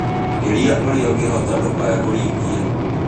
Geria orĩa ũngĩhota ndũkae kũrigia